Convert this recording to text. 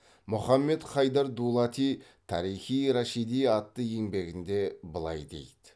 мұхаммед хайдар дулати тарих и рашиди атты еңбегінде былай дейді